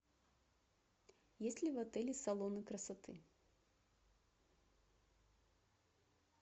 есть ли в отеле салоны красоты